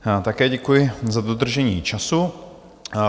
Také děkuju i za dodržení času.